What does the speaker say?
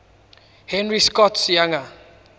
henry scott's younger